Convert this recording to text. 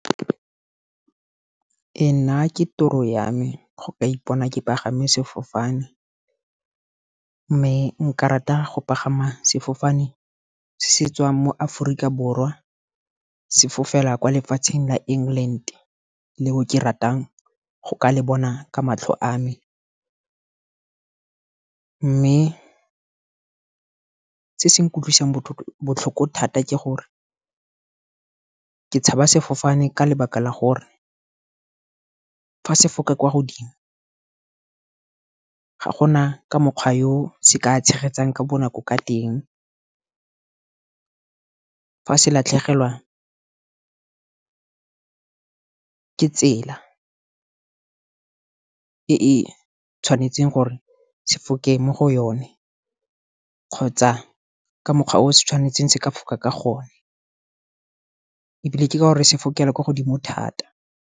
Nna ke toro yame go ka ipona ke pagame sefofane. Mme nka rata go pagama sefofane se tswang mo Aforika Borwa sefofela kwa lefatsheng la England. Leo ke ratang go ka le bona ka matlho a me, mme se se nkutlwisang botlhoko thata ke gore, ka tshaba sefofane ka lebaka la gore, fa se foka kwa godimo ga gona ka mokgwa yo se ka tshegetsang ka bonako ka teng. Fa se latlhegelwa ka tsela e e tshwanetseng gore se foke mo go yone, kgotsa ka mokgwa o se tshwanetseng se ka foka ka gone. Ebile ke ka gore se fokela ko godimo thata.